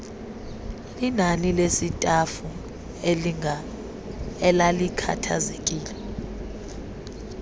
linani lesitafu elalikhathazekile